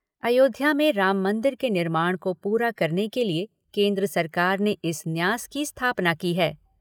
अयोध्या में राम मंदिर के निर्माण को पूरा करने के लिए केन्द्र सरकार ने इस न्यास की स्थापना की है।